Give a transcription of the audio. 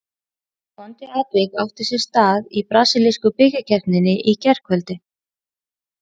Skondið atvik átti sér stað í brasilísku bikarkeppninni í gærkvöldi.